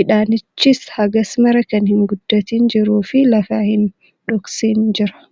Midhaanichis hagasmara kan hin guddatin jiruu fi lafa hin dhoksin jira.